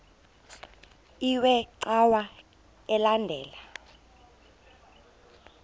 iwe cawa elandela